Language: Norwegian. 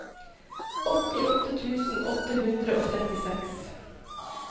åttiåtte tusen åtte hundre og trettiseks